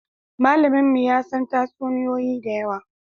Malaminmu ya san tatsuniyoyi da yawa